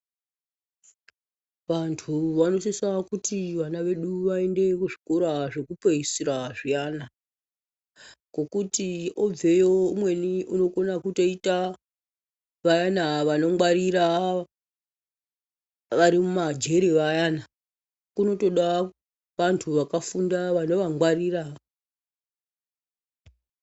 Vantu vanosisa kuti vana vedu vayinde kuzvikora zvekupeyisira zviyana, ngokuti obveyo umweni unokona kutoyita vayana vanongwarira vari mumajere vayana, kunotoda vantu vakafunda vano vangwarira.